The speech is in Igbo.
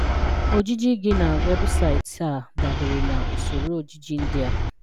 Ojiji gị na webụsaịtị a dabere na Usoro ojiji ndị a.